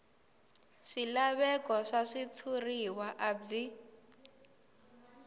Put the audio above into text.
swilaveko swa switshuriwa a byi